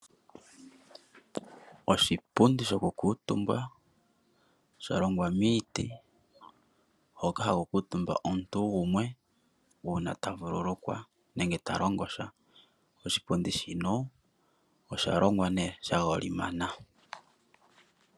Oshipundi shoku kuutumba sha longwa miiti hoka ha kuutumba omuntu gumwe uuna ta vululukwa nenge ta longo sha, oshipundi shino osha longwa nee sha golimana.